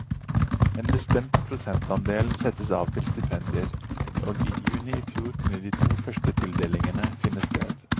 En bestemt prosentandel settes av til stipendier, og i juni i fjor kunne de to første tildelingene finne sted.